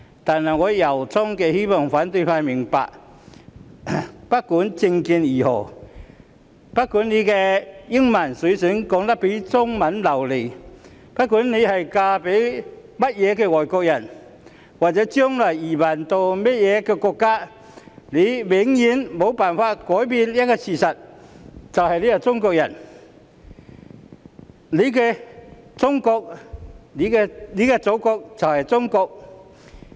但我由衷地希望反對派明白，不管政見如何、不管英文說得比中文流利、不管嫁給甚麼外國人，或者將來移民到甚麼國家，他們永遠無法改變自己是中國人的事實，他們的祖國就是中國。